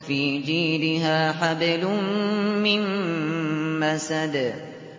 فِي جِيدِهَا حَبْلٌ مِّن مَّسَدٍ